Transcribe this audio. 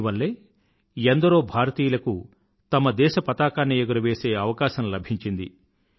దీనివల్లే ఎందరో భారతీయులకు తమ దేశ పతాకాన్ని ఎగురవేసే అవకాశం లభించింది